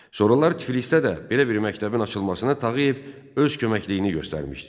Sonralar Tiflisdə də belə bir məktəbin açılmasına Tağıyev öz köməkliyini göstərmişdi.